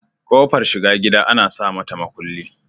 Kofar shiga gida Ana samata makulli